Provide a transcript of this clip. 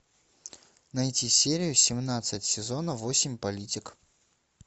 найти серию семнадцать сезона восемь политик